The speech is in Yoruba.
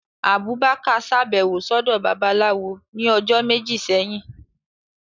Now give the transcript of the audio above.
Abubakar ṣabẹwo sọdọ Babalawó ni ọjọ meji sẹhin.